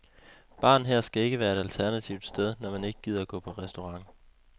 Baren her skal være et alternativt sted, når man ikke gider gå på restaurant.